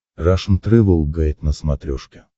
рашн тревел гайд на смотрешке